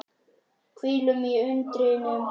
Hvílum í undrinu og njótum.